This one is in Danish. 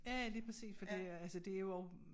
Ja ja lige præcis for det er altså det jo og